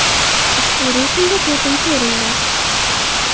U ushbu reytingda to‘rtinchi o‘rinda.